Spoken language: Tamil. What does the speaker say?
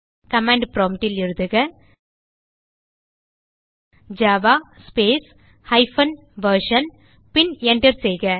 கமாண்ட் ப்ராம்ப்ட் ல் எழுதுக ஜாவா ஸ்பேஸ் ஹைபன் வெர்ஷன் பின் Enter செய்க